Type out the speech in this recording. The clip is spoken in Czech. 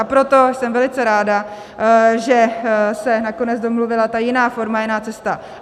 A proto jsem velice ráda, že se nakonec domluvila ta jiná forma, jiná cesta.